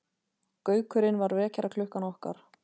Gaukurinn var vekjaraklukkan okkar.